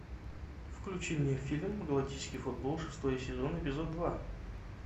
включи мне фильм галактический футбол шестой сезон эпизод два